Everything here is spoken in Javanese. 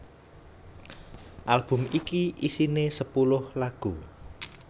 Album iki isiné sepuluh lagu